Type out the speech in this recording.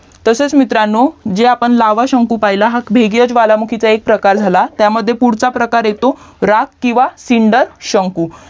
तसेच मित्रांनो जे आपण लावा शंकू पहिला भेगिय ज्वालामुखीच एक प्रकार झाला त्यामध्ये पुढचा प्रकार राख किवा सिंड शंकू